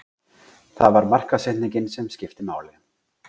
Það var markaðssetningin sem skipti máli.